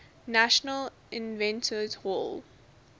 national inventors hall